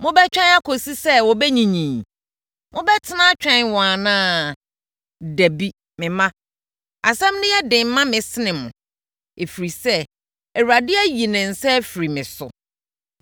mobɛtwɛn kɔsi sɛ wɔbɛnyinyini? Mobɛtena atwɛn wɔn anaa? Dabi, me mma. Asɛm no yɛ den ma me sen mo, ɛfiri sɛ, Awurade ayi ne nsa afiri me so!”